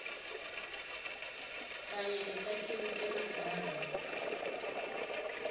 kanye netakhiwo temagama